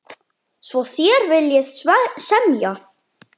Svo þér viljið semja?